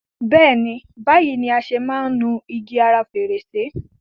Béèni, báyìí ni a ṣe máa ń nu igi ara fèrèsé.